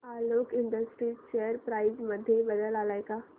Alok industries share price मध्ये बदल आलाय का